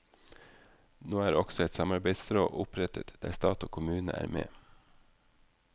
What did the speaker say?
Nå er også et samarbeidsråd opprettet der stat og kommune er med.